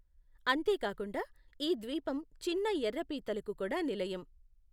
అంతే కాకుండా, ఈ ద్వీపం చిన్న ఎర్ర పీతలకు కూడా నిలయం.